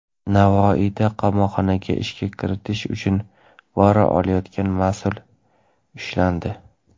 Navoiyda qamoqxonaga ishga kiritish uchun pora olayotgan mas’ul ushlandi.